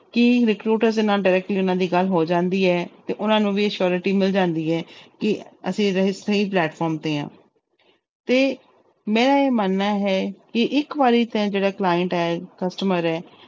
ਕਿ recruiter ਦੇੇ ਨਾਲ directly ਉਹਨਾਂ ਦੀ ਗੱਲ ਹੋ ਜਾਂਦੀ ਹੈ ਤੇ ਉਹਨਾਂ ਨੂੰ ਵੀ assurity ਮਿਲ ਜਾਂਦੀ ਹੈ ਕਿ ਅਸੀਂ ਰ~ ਸਹੀ platform ਤੇ ਹਾਂ ਤੇ ਮੇਰਾ ਇਹ ਮੰਨਣਾ ਹੈ ਕਿ ਇੱਕ ਵਾਰੀ ਤੇ ਜਿਹੜਾ client ਹੈ customer ਹੈ